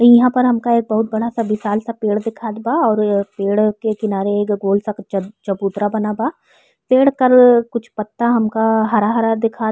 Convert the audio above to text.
इहा पर हमका एक बहुत बड़ा सा विशाल सा पेड़ दिखात बा और इ पेड़ के किनारे एक गोल सा चब चबूतरा बना बा। पेड़ कल कुछ पत्ता हमका हरा-हरा दिखात --